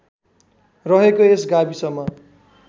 रहेको यस गाविसमा